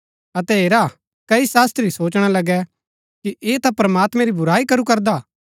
अतै हेरा कई शास्त्री सोचणा लगै कि ऐह ता प्रमात्मैं री बुराई करू करदा